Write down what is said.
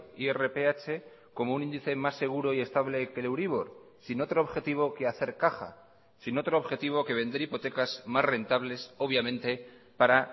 irph como un índice más seguro y estable que el euribor sin otro objetivo que hacer caja sin otro objetivo que vender hipotecas más rentables obviamente para